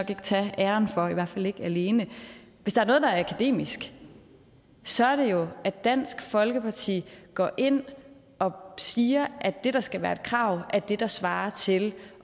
kan tage æren for i hvert fald ikke alene hvis der er noget der er akademisk så er det jo at dansk folkeparti går ind og siger at det der skal være et krav er det der svarer til